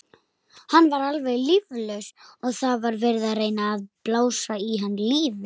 Hann var alveg líflaus og það var verið að reyna að blása í hann lífi.